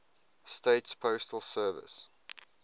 states postal service